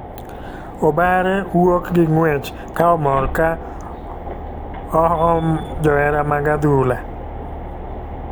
Obare wuok gi ng'uech ka omor ka oxhom johera mag adhula.